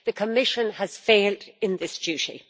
The Commission has failed in this duty.